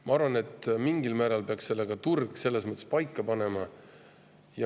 Ma arvan, et mingil määral peaks turg selle paika panema.